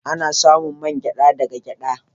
Ana samun main geɗa da ga geɗa.